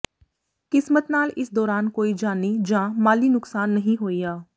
ਕਿਸਮਤ ਨਾਲ ਇਸ ਦੌਰਾਨ ਕੋਈ ਜਾਨੀ ਜਾਂ ਮਾਲੀ ਨੁਕਸਾਨ ਨਹੀਂ ਹੋਇਆ